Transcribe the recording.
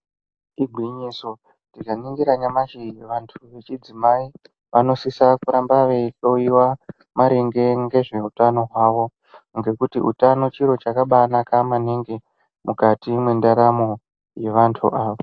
Igwinyiso kuti vantu vechidzimai vanosise kuramba veyi hloriwa maringe ngezvehutano hwavo, ngekuti hutano chiro chakanaka maningi mukati mendaramo yevantu ava.